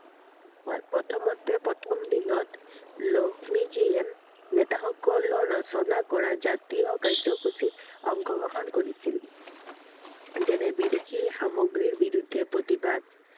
হয়, প্ৰথমতে প্ৰথম দিনত লক্ষ্মীজীয়ে নেতাসকলৰ ৰচনা কৰা জাতীয় কাৰ্যসূচীত অংশ গ্ৰহণ কৰিছিল I যেনে বিদেশী সামগ্ৰীৰ বিৰুদ্ধে প্ৰতিবাদ